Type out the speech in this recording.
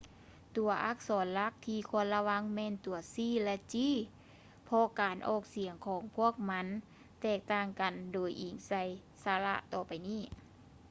ຕົວອັກສອນຫຼັກທີ່ຄວນລະວັງແມ່ນຕົວ c ແລະ g ເພາະການອອກສຽງຂອງພວກມັນແຕກຕ່າງກັນໂດຍອີງໃສ່ສະຫຼະຕໍ່ໄປນີ້